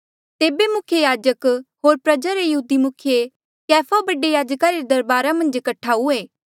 तेबे मुख्य याजक होर प्रजा रे यहूदी मुखिये कैफा बडे याजका रे दरबारा मन्झ कठा हुए